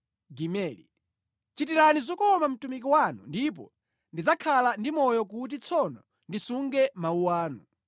Chitirani zokoma mtumiki wanu, ndipo ndidzakhala ndi moyo; kuti tsono ndisunge mawu anu.